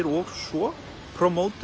og svo